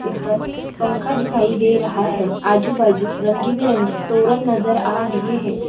ऊपर पंखा दिखाई दे रहा है आजू-बाजू रंगी-बिरंगी तोरंग नजर आ रहे है।